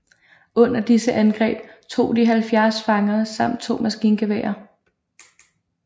Under disse angreb tog de 70 fanger samt to maskingeværer